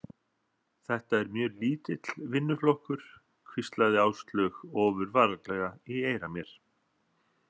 Þetta er mjög lítill vinnuflokkur, hvíslaði Áslaug ofurvarlega í eyra mér.